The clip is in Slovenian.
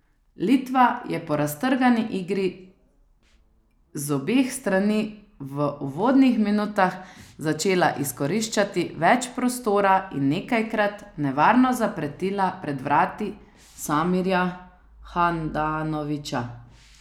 Litva je po raztrgani igri z obeh strani v uvodnih minutah začela izkoriščati več prostora in nekajkrat nevarno zapretila pred vrati Samirja Handanovića.